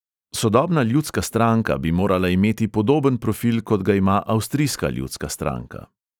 Sodobna ljudska stranka bi morala imeti podoben profil, kot ga ima avstrijska ljudska stranka.